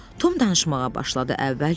Tom danışmağa başladı.